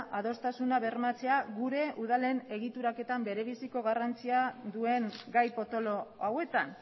adostasuna bermatzea gure udalen egituraketan berebiziko garrantzia duen gai potolo hauetan